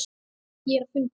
Ég er á fundi